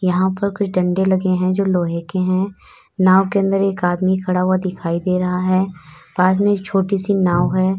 यहां पर कुछ डंडे लगे हैं जो लोहे के हैं। नाव के अंदर एक आदमी खड़ा हुआ दिखाई दे रहा है। पास में एक छोटी सी नाव है।